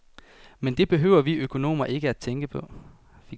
Men det behøver vi økonomer ikke tænke på.